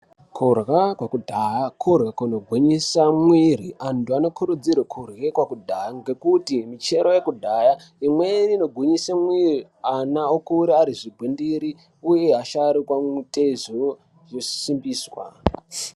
Kurya kwokudhaya kurya kunogwinyisa mwiiri. Antu anokurudzirwe kurye kwekudhaya, ngekuti michero yekudhaya, imweni inogwinyise mwiri, ana okura ari zvigwindiri, uye asharukwa mitezo yosimbiswa.